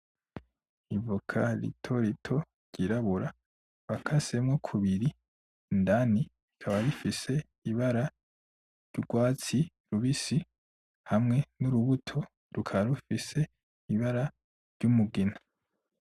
Ivoka ritorito ryirabura bakasemwo kubiri, indani rikaba rifise ibara ry’urwatsi rubisi hamwe n’urubuto rukaba rufise ibara ry’umugina.